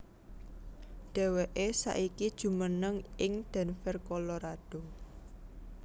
Dheweké saiki jumeneng ning Denver Colorado